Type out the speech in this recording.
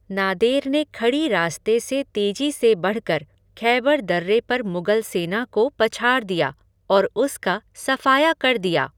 नादेर ने खड़ी रास्ते से तेजी से बढ़कर खैबर दर्रे पर मुगल सेना को पछाड़ दिया और उसका सफ़ाया कर दिया।